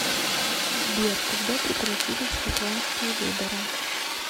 сбер когда прекратились шотландские выборы